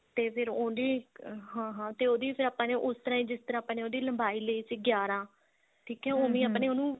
ਤੇ ਫਿਰ ਉਹਦੇ ਹਾਂ ਹਾਂ ਤੇ ਉਹਦੀ ਫੇਰ ਆਪਾਂ ਨੇ ਉਸ ਤਰ੍ਹਾਂ ਹੀ ਜਿਸ ਤਰ੍ਹਾਂ ਆਪਾਂ ਨੇ ਉਹਦੀ ਲੰਬਾਈ ਲਈ ਸੀ ਗਿਆਰਾਂ ਠੀਕ ਏ ਉਹੀ ਆਪਾਂ ਨੇ ਉਹਨੂੰ